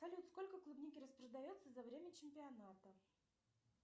салют сколько клубники распродается за время чемпионата